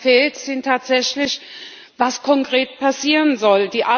Aber was fehlt, ist tatsächlich, was konkret passieren soll.